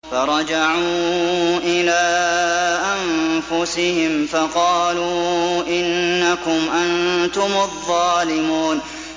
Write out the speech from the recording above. فَرَجَعُوا إِلَىٰ أَنفُسِهِمْ فَقَالُوا إِنَّكُمْ أَنتُمُ الظَّالِمُونَ